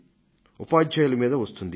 ఉపాధ్యాయుల మీదా వస్తుంది